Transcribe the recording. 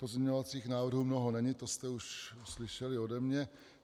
Pozměňovacích návrhů mnoho není, to jste už slyšeli ode mě.